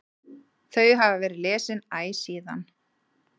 Þau hafa verið lesin æ síðan.